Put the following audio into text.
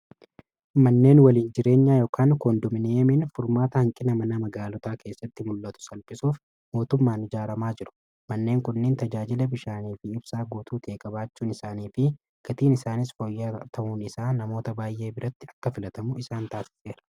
Manneen waliin jireenyaa ykn koondomneemiin furmaata hanqina mana magaalotaa keessatti mul'atu salphisuuf mootummaan ijaaramaa jiru manneen qunneen tajaajila bishaanii fi ibsaa guutuu tieegabaachuun isaanii fi gatiin isaanis fooyyaa ta'uun isaa namoota baay'ee biratti akka filatamu isaan taasiseera.